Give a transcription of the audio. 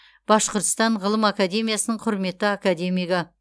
башқұртстан ғылым академиясының құрметті академигі